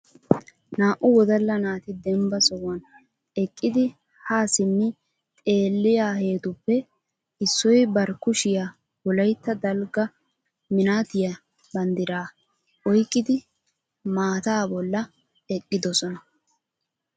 Naa"u wodala naati dembba sohuwan eqqidi ha simmi xeelliyaahetuppe issoy bar kushiyaa Wolaytta dalgga mnattiya banddira oyqqidi maata bolla eqqidoosona.